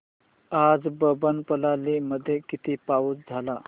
आज अब्बनपल्ली मध्ये किती पाऊस झाला